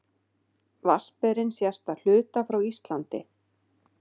Vatnsberinn sést að hluta frá Íslandi.